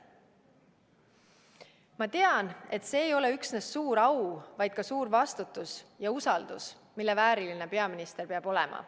Ma tean, et see ei ole üksnes suur au, vaid ka suur vastutus ja usaldus, mille vääriline peaminister peab olema.